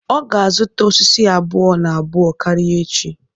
Ọ ga azụta osisi abụọ-na-abụọ karịa echi.